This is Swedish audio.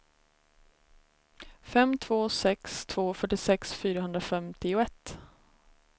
fem två sex två fyrtiosex fyrahundrafemtioett